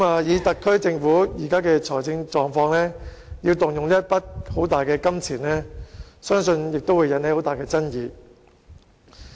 以特區政府現時的財政狀況，要動用一筆龐大的金錢，相信亦會引起很大的爭議。